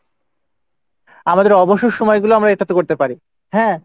আমাদের অবসর সময়গুলো আমরা এটাতে করতে পারি, হ্যাঁ?